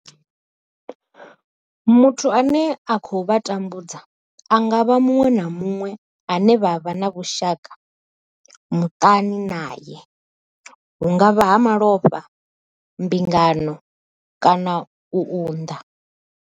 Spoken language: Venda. Muthu ane a khou vha tambudza a nga vha muṅwe na muṅwe ane vha vha na vhushaka muṱani nae hu nga vha nga malofha, mbingano kana u unḓa.